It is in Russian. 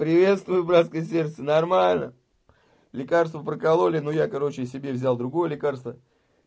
приветствую братка сердцу нормально лекарство прокололи ну я короче себе взял другое лекарство